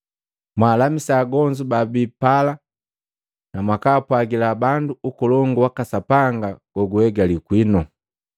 mwaalamisa agonzu babi pala, na mwakaapwagila bandu, ‘Ukolongu waka Sapanga guhegali kwinu.’